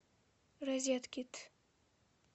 розеткед